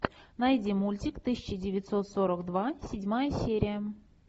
найди мультик тысяча девятьсот сорок два седьмая серия